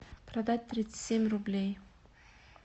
продать тридцать семь рублей